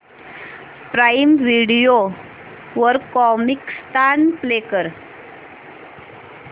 prime video वर Comicstaan play कर